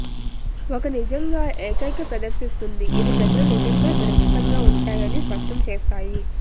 ఒక నిజంగా ఏకైక ప్రదర్శిస్తుంది ఇది ప్రజలు నిజంగా సురక్షితంగా ఉంటాయి అని స్పష్టం చేస్తాయి